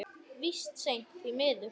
Víst seint, því miður.